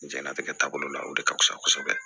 Jɛnatigɛ taabolo la o de ka fusa kosɛbɛ